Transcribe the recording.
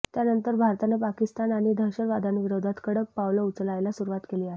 त्यानंतर भारतानं पाकिस्तान आणि दहशतवाद्यांविरोधात कडक पावलं उचलायला सुरूवात केली आहे